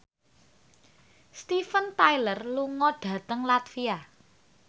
Steven Tyler lunga dhateng latvia